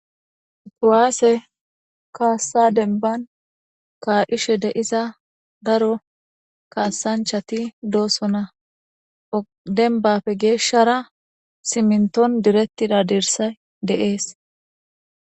Kuwasse kaassa dembban ka'ishe de'iza daro kaassanchchati doosona. Dembbape geeshshara simmiton diretida dirssay de'es.